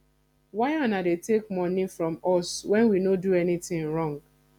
why una dey take money from us wen we no do anything wrong